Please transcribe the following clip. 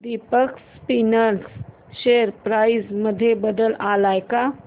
Deepak spinners share price मध्ये बदल आलाय का